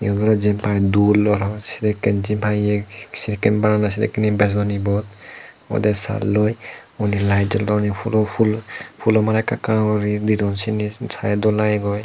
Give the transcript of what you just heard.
yen ole jiyen pai duloi hapang sedekken jyenpai ye sedekken banandey sedekken ye bejodon ibot odey salloi undi light jolodon ei phulo phul phulo mala ekka ekka guri didon siyeni sadey dol lagegoi.